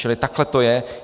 Čili takhle to je.